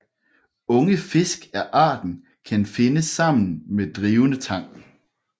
Unge fisk af arten kan findes sammen med drivende tang